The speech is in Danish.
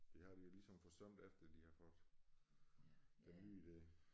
Det har de jo ligesom forsømt efter de har fået den nye der